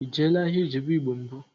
Ị jeela ahịa Ijebu igbo mbụ?